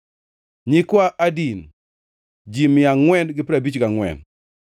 nyikwa Adin, ji mia angʼwen gi piero abich gangʼwen (454),